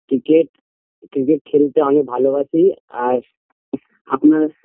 cricket cricket খেলতে আমি ভালোবাসি আর আপনার